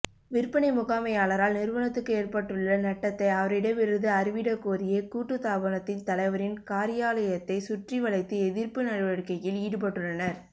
விற்பனை முகாமையாளரால் நிறுவனத்துக்கு ஏற்பட்டுள்ள நட்டத்தை அவரிடமிருந்து அறவிடக்கோரியே கூட்டுத்தாபனத்தின் தலைவரின் காரியாலயத்தை சுற்றிவளைத்து எதிர்ப்பு நடவடிக்கையில் ஈடுபட்டுள்ளனர்